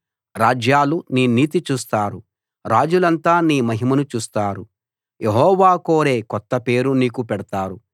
రాజ్యాలు నీ నీతి చూస్తారు రాజులంతా నీ మహిమను చూస్తారు యెహోవా కోరే కొత్త పేరు నీకు పెడతారు